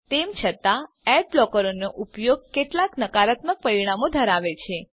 તેમ છતાં એડ બ્લોકરોનો ઉપયોગ કેટલાક નકારાત્મક પરિણામો ધરાવે છે